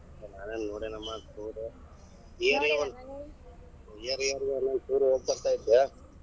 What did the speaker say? ನಾನೆನ ನೋಡೇನಮ್ಮ year year ಗ್ ಒಂದೊಂದ್ tour ಹೋಗ ಬರ್ತಾ ಇದ್ದೆ.